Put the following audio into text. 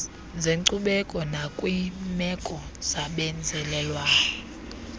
zenkcubeko nakwiimeko zabenzalelwane